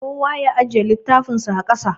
Kowa ya ajiye littafinsa a ƙasa.